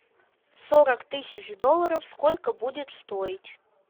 сорок тысяч долларов сколько будет стоить